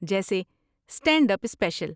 جیسے stand up special.